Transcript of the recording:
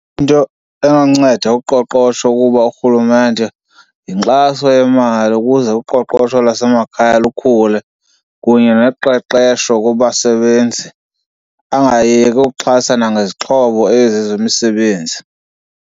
Into enonceda uqoqosho kukuba urhulumente yinkxaso yemali ukuze uqoqosho lwasemakhaya lukhule kunye noqeqesho kubasebenzi, angayeki ukuxhasa nangezixhobo ezi zemisebenzi.